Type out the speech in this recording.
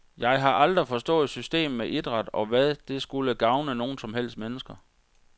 Jeg har aldrig forstået systemet med idræt, og hvad det skulle gavne nogen som helst mennesker.